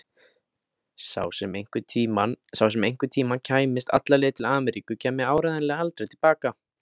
Sá sem einhverntíma kæmist alla leið til Ameríku kæmi áreiðanlega aldrei til baka.